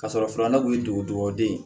Ka sɔrɔ filanan kun ye dugudogoden ye